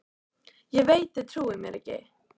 Ég veit þið trúið mér ekki.